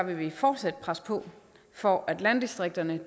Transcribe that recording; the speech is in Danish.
vil vi fortsat presse på for at landdistrikterne